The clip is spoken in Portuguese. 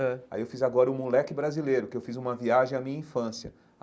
Ãh aí eu fiz agora o Moleque Brasileiro, que eu fiz uma viagem à minha infância.